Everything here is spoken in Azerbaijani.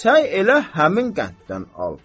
Səy elə həmin qənddən al.